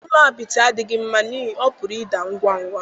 Ụlọ apịtị adịghị mma n'ihi na ọ pụrụ ịda ngwa ngwa.